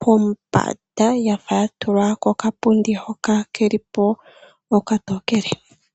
pombanda yafa yatulwa koka pundi hoka kelipo okatokele.